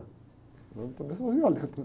Eu também sou violento, né?